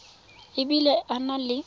e bile a na le